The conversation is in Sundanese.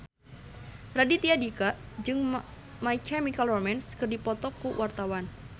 Raditya Dika jeung My Chemical Romance keur dipoto ku wartawan